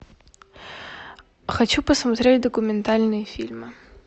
хочу посмотреть документальные фильмы